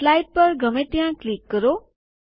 slide પર ગમે ત્યાં ક્લિક કરો